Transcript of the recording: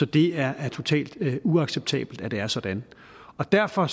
det er totalt uacceptabelt at det er sådan derfor